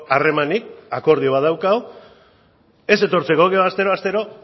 harremanik akordio bat daukagu ez etortzeko gero astero astero